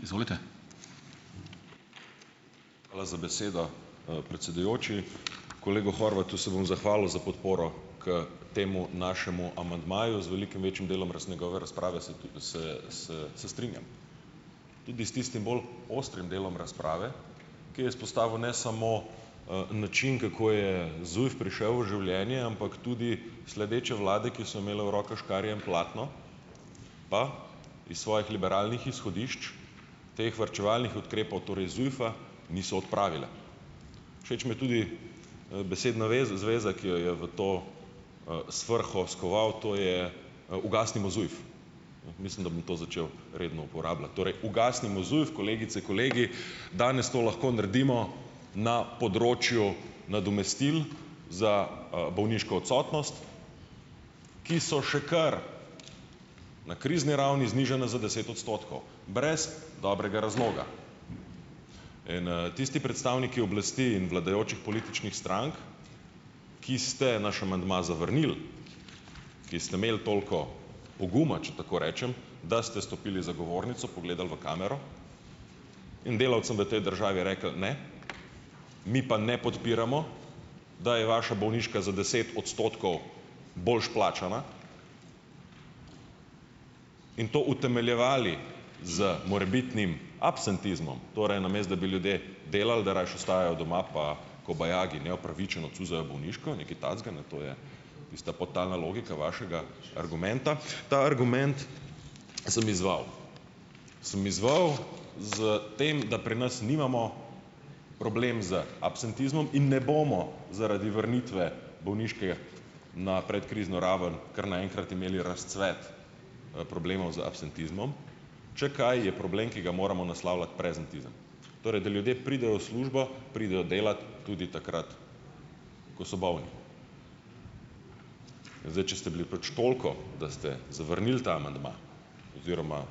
Hvala za besedo, predsedujoči. Kolegu Horvatu se bom zahvalil za podporo k temu našemu amandmaju z velikim večjim delom njegove razprave se se se se strinjam. Tudi s tistim bolj ostrim delom razprave, ki je izpostavil ne samo, način, kako je ZUJF prišel v življenje, ampak tudi sledeče vlade, ki so imele v rokah škarje in platno pa iz svojih liberalnih izhodišč teh varčevalnih ukrepov torej ZUJF-a niso odpravile. Všeč mi je tudi, besedna veza zveza, ki jo je v to, svrho skoval, to je, "ugasnimo ZUJF". Mislim, da bom to začel redno uporabljati, torej "ugasnimo ZUJF", kolegice, kolegi. Danes to lahko naredimo na področju nadomestil za, bolniško odsotnost, ki so še kar na krizni ravni, znižana za deset odstotkov brez dobrega razloga. In tisti predstavniki oblasti in vladajočih političnih strank, ki ste naš amandma zavrnili, ki ste imeli toliko poguma, če tako rečem, da ste stopili za govornico, pogledali v kamero in delavcem v tej državi rekli: "Ne, mi pa ne podpiramo, da je vaša bolniška za deset odstotkov boljše plačana," in to utemeljevali z morebitnim absentizmom, torej namesto da bi ljudje delali, da rajši ostajajo doma pa kobajagi neopravičeno "cuzajo" bolniško nekaj takega, ne, to je tista podtalna logika vašega argumenta. Ta argument sem izzval, sem izzval s tem, da pri nas nimamo problem z absentizmom in ne bomo zaradi vrnitve bolniške na predkrizno raven kar naenkrat imeli razcvet, problemov z absentizmom, če kaj je problem, ki ga moramo naslavljati, prezentizem. Torej da ljudje pridejo v službo, pridejo delat tudi takrat, ko so bolni. Zdaj, če ste bili pač toliko, da ste zavrnili ta amandma oziroma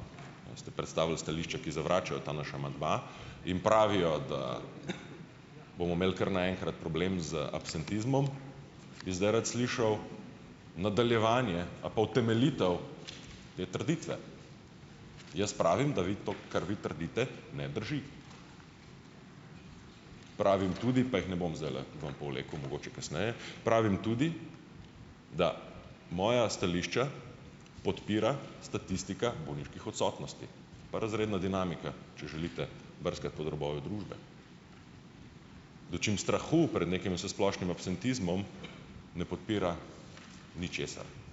ste predstavili stališča, ki zavračajo ta naš amandma, in pravijo, da bomo imeli kar naenkrat problem z absentizmom, bi zdaj rad slišal nadaljevanje a pa utemeljitev te trditve. Jaz pravim, da vi to, kar vi trdite, ne drži. Pravim tudi, pa jih ne bom zdajle ven povlekel, mogoče kasneje, pravim tudi, da moja stališča podpira statistika bolniških odsotnosti pa razredna dinamika, če želite brskati pod robovi družbe, dočim strahu pred nekim vsesplošnim absentizmom ne podpira ničesar.